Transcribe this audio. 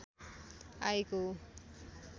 आएको हो